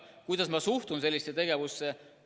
Kuidas ma suhtun sellisesse tegevusse?